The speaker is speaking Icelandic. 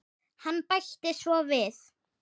Hann bætti svo við